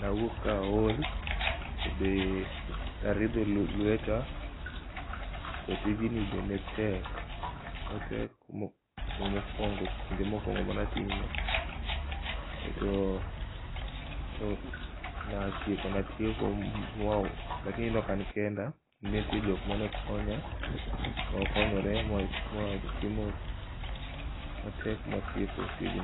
nawuok ka aol be aridho lueta, to tijni be netek kinde mokuongo mane atime to natieko lakini ne ok an kenda ne nitie jok mane konya, ne wakonyore mawatieko tijno